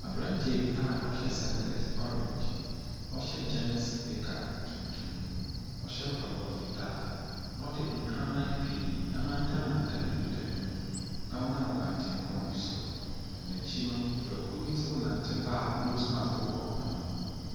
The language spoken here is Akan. Abranteɛ bi a ɔhyɛ singlɛt ɔreenge, ɔhyɛ gyins nika tuntum, ɔhyɛ mpaboa fitaa, na ɔde nkraman pii amantam mantam ne nika ne ho, na ɔnam kwantepɔn bi so. Na n'akyi no, nnipakuo bi nante ba a nos maks ɛbobɔ wɔn ano.